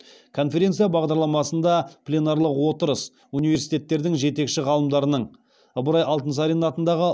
конференция бағдарламасында пленарлық отырыс университеттердің жетекші ғалымдарының ыбырай алтынсарин атындағы